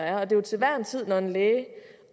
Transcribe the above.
er jo til hver en tid når en læge